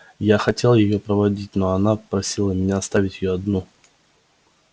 я хотел её проводить но она просила меня оставить её одну